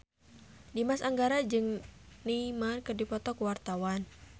Dimas Anggara jeung Neymar keur dipoto ku wartawan